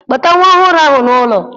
Kpọta nwa ọhụrụ ahụ n'ụlọ!